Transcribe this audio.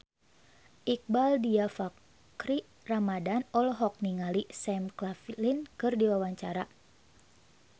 Iqbaal Dhiafakhri Ramadhan olohok ningali Sam Claflin keur diwawancara